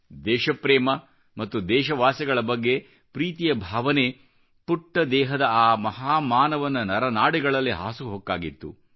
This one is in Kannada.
ದೇಶಪ್ರೇಮ ಮತ್ತು ದೇಶವಾಸಿಗಳ ಬಗ್ಗೆ ಪ್ರೀತಿಯ ಭಾವನೆ ಪುಟ್ಟ ದೇಹದ ಆ ಮಹಾ ಮಾನವನ ನರ ನಾಡಿಗಳಲ್ಲಿ ಹಾಸುಹೊಕ್ಕಾಗಿತ್ತು